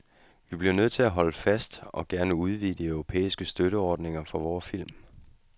Vi bliver nødt til at holde fast og gerne udvide de europæiske støtteordninger for vore film.